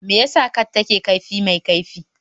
Me yasa cats ke da kaifi mai kaifi?